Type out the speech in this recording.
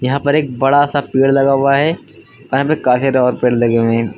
यहां पर एक बड़ा सा पेड़ लगा हुआ है पेड़ लगे हुए है।